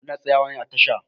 Muna tsayawa ne a tasha.